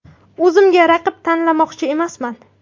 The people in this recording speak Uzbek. O‘zimga raqib tanlamoqchi emasman.